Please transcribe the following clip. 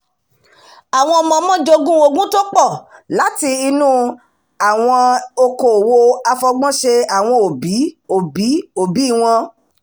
àwọn ọmọọmọ jogún ogún tó pọ̀ láti inú àwọn okoòwò àfọgbọ́nṣe àwọn òbí-òbí-òbí wọn